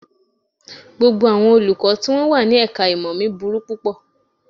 Gbogbo àwọn Olùkọ́ tí wọ́n wà ní ẹ̀ka-ìmọ̀ mi burú púpọ̀